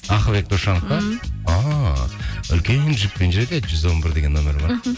ақылбек досжанова па м ааа үлкен джиппен жүреді жүз он бір деген нөмірі бар мхм